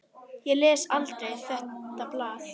Ég les aldrei þetta blað.